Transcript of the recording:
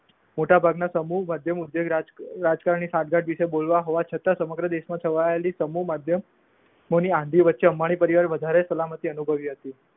મોટા ભાગ ના સમૂહ માધ્યમ ઉદ્યોગ રાજકારણની વિશે બોલવા હોવા છતાં સમગ્ર દેશમાં છવાયેલી સમૂહ માધ્યમ ઓની વચ્ચે અમારી પ્રર્યાવર્ણીય વધારે સલામતી અનુભવી હતી.